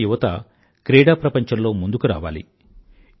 మన దేశ యువత క్రీడాప్రపంచంలో ముందుకు రావాలి